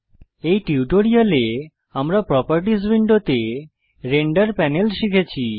এই টিউটোরিয়ালে আমরা প্রোপার্টিস উইন্ডোতে রেন্ডার প্যানেল শিখেছি